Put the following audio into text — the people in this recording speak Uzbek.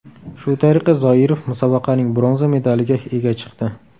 Shu tariqa Zoirov musobaqaning bronza medaliga ega chiqdi.